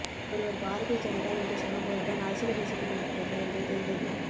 ஒருவர் பாரதிய ஜனதா என்று சொன்னபோதுதான் அரசியல் பேசிக்கொண்டிருக்கிறார்கள் என்று தெரிந்தது